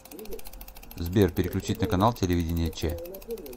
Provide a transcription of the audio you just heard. сбер переключить на канал телевидения че